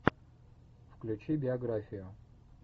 включи биографию